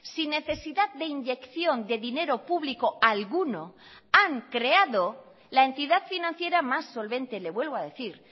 sin necesidad de inyección de dinero público alguno han creado la entidad financiera más solvente le vuelvo a decir